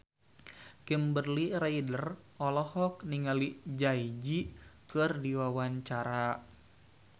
Kimberly Ryder olohok ningali Jay Z keur diwawancara